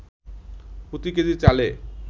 প্রতি কেজি চালে